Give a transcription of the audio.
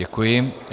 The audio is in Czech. Děkuji.